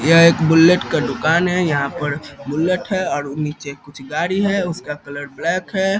यह एक बुलेट का दुकान है यहाँ पर बुलेट है और नीचे कुछ गाड़ी है उसका कलर ब्लैक है।